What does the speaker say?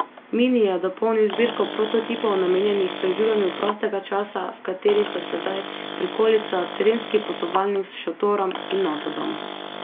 Mini je dopolnil zbirko prototipov namenjenih preživljanju prostega časa, v kateri so sedaj prikolica, terenski potovalnik s šotorom in avtodom.